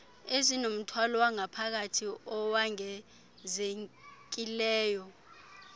ezinomthwalo wangaphakathi owongezekileyo